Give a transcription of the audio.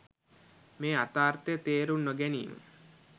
මෙම යථාර්ථය තේරුම් නොගැනීම